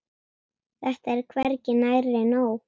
Þetta er hvergi nærri nóg.